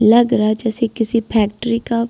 लग रहा जैसे किसी फैक्ट्री का --